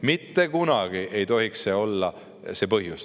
Mitte kunagi ei tohiks see olla see põhjus.